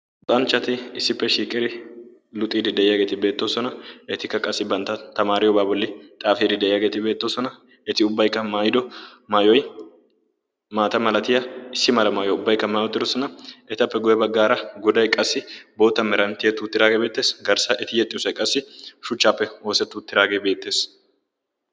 Luxanchchati issippe shiiqodi luxidi de'iyaageeti beettoosona. Etikka qassi bantta tamariyooba bolli xaafide de'iyaageeti beettoosona. Eti ubbaykka maatyido maayyoy maata malatiya maayyuwa maatyi uttidoosoan. Etappe guyye baggaaragoday qassi bootta meran tiyyeti uttidaage beettees. Garssaeti yexxiyoosay qassi shuchcappe ooseti uttidaage beettees.